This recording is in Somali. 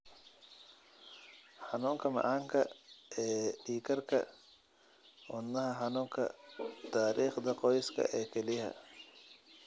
xanuunka macaanka ee dhiigkarka wadna xanuunka taariikhda qoyska ee kelyaha.